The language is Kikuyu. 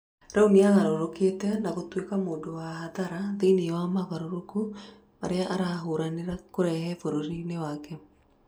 Rĩu nĩagarũrũkĩte na gũtuĩka mũndũwa hathara thĩiniĩ wa mogarũrũku marĩa arahũranĩra kũrehe bũrũrĩnĩ wake.